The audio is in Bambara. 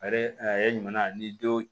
A yɛrɛ ɲuman ni denw